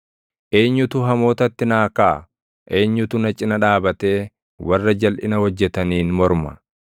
Eenyutu hamootatti naa kaʼa? Eenyutu na cina dhaabatee warra jalʼina hojjetaniin morma?